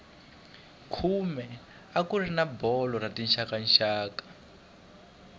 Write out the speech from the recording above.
khume a kuri na bolo ya tixakaxaka